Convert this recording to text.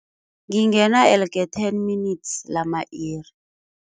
Ngingena elke ten minutes lama-iri.